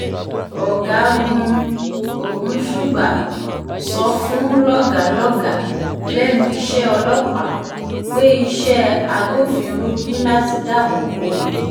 ọ̀gágun ogunṣugbà sọ fún àwọn lọ́gàá lọ́gàá lẹ́nu iṣẹ́ ọlọ́pàá pé iṣẹ́ agbófinró ní láti dáàbò bo ìlú